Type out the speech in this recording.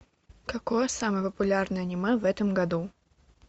какое самое популярное аниме в этом году